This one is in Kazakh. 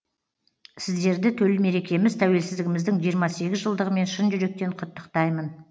сіздерді төл мерекеміз тәуелсіздігіміздің жиырма сегіз жылдығымен шын жүректен құттықтаймын